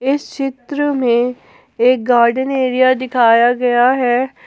इस चित्र में एक गार्डन एरिया दिखाया गया है।